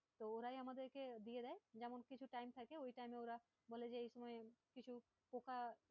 তো ওরাই আমাদেরকে দিয়ে দেয় যেমন, কিছু time থাকে ওই time এ ওরা বলে যে এই সময় কিছু পোকা।